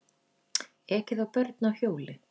Ekið á börn á hjóli